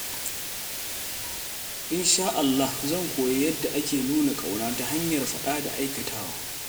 Insha Allah, zan koyi yadda ake nuna ƙauna ta hanyar faɗa da aikatawa.